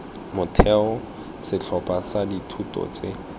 motheo setlhopha sa dithuto tse